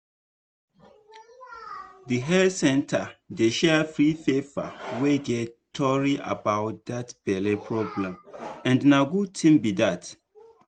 the health center dey share free paper wey get tory about that belle problem and na good thing be that